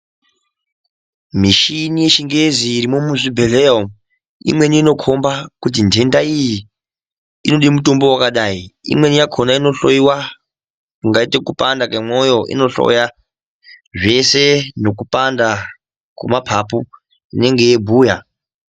Mishini yechingezi irimwo muzvibhehleya umwu imweni inokomba kuti nhenda iyi inode mutombo wakadai imweni yakona inohloyiwa ,kungaite kupanda kwemoyo inohloya zvese nekupanda kwemapapu inenge yeibhuya.